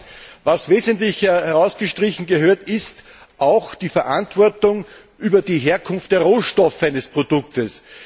Aber was wesentlich herausgestrichen gehört, ist auch die Verantwortung über die Herkunft der Rohstoffe eines Produktes.